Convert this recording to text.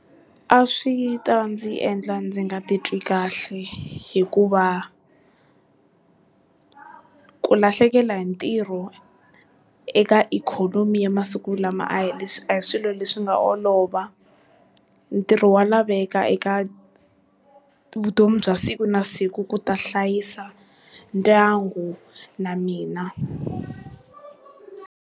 A swi ta ndzi endla ndzi nga titwi kahle hikuva, ku lahlekela hi ntirho eka ikhonomi yamasiku lama a hi leswi a hi swilo leswi nga olova, ntirho wa laveka eka vutomi bya siku na siku ku ta hlayisa ndyangu na mina.